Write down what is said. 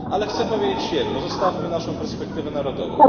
Ale chcę powiedzieć jedno zostawmy naszą perspektywę narodową.